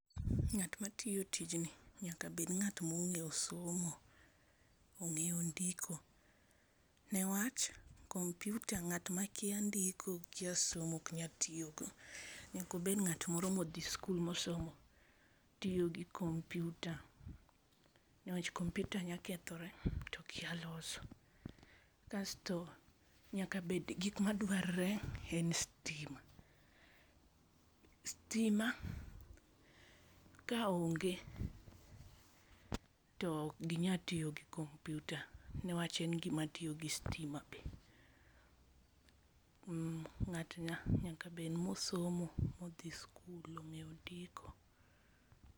Nga't ma tiyo tijni, nyaka bed nga't onge'yo somo, onge'o ndiko ne wach komputa nga't ma kia ndiko, kia somo ok nyal tiyogo nyako bet nga't moro mo othie school mosomo tiyogi komputua, ne wach koputa nyalo kethore to okia loso kasto nyaka bet ni gik maduarore en stima, stima ka onge to ok ginyal tiyo gi komputa ne wach en gima tiyo gi stima be, nga'to nyaka bed nga'ma osomo ma othie school mongeo ndiko